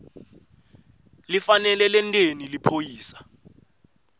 lifanele lenteni liphoyisa